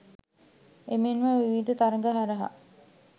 එමෙන්ම විවිධ තරඟ හරහා